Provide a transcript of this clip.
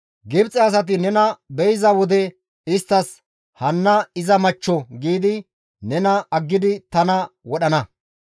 Gibxe asay nena be7iza wode isttas, ‹Hanna iza machcho› giidi nena aggidi tana wodhana.